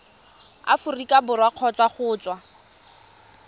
aforika borwa kgotsa go tswa